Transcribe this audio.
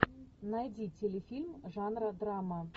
найди телефильм жанра драма